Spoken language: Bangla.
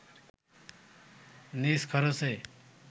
নিজ খরচে